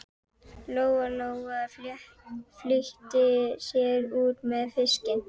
Lóa-Lóa flýtti sér út með fiskinn.